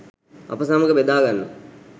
අප සමග බෙදාගන්න